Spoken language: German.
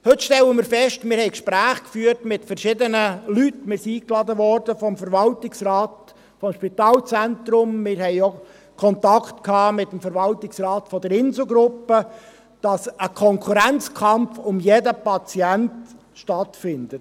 Heute stellen wir fest – wir führten Gespräche mit verschiedenen Leuten, wir wurden vom Verwaltungsrat des Spitalzentrums ..., wir hatten auch Kontakt mit dem Verwaltungsrat der Inselgruppe –, dass ein Konkurrenzkampf um jeden Patienten stattfindet.